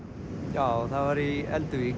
já það var í